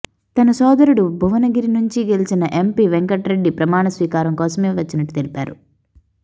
తన సోదరుడు భువనగిరి నుంచి గెలిచిన ఎంపీ వెంకటరెడ్డి ప్రమాణస్వీకారం కోసమే వచ్చినట్టు తెలిపారు